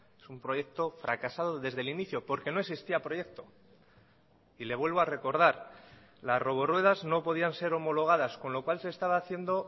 es un proyecto fracasado desde el inicio porque no existía proyecto y le vuelvo a recordar las roboruedas no podían ser homologadas con lo cual se estaba haciendo